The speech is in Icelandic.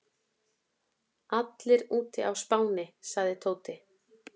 Allir úti á Spáni sagði Tóti.